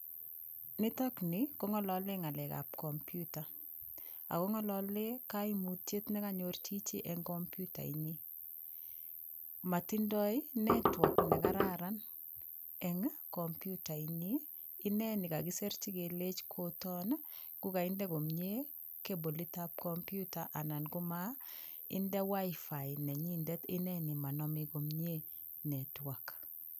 Nitokni kong'olole ng'alekab komputa akong'olole kaimutyet nekanyor chichi eng' komputainyi matindoi network nekararan eng' komputainyi ineni kakiserchi kelech koton ngukaide komye kebolitab komputa ana komainde WiFi nenyindet ineni manomei komyee network